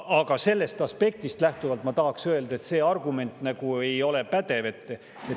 Aga sellest aspektist lähtuvalt ma tahan öelda, et see argument nagu ei ole pädev.